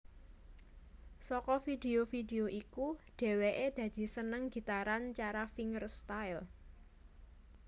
Saka vidio vidio iku dhèwèké dadi seneng gitaran cara fingerstyle